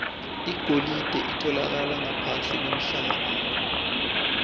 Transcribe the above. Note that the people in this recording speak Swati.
ligolide litfolakala ngaphansi kwemhlaba